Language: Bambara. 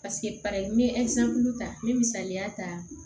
n ye ta n bɛ misaliya ta